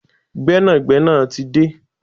Gbẹ́nàgbẹ́nà tí de